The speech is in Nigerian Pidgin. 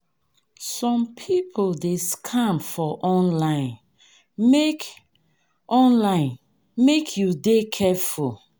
Some pipo dey scam for online, make online, make you dey careful.